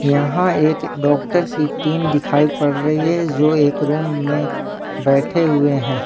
यहां एक डॉक्टर की टीम दिखाई पड़ रही है जो एक रूम में बैठे हुए हैं।